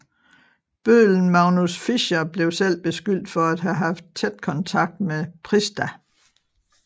Bøddelen Magnus Fischer blev selv beskyldt for at have haft tæt kontakt med Prista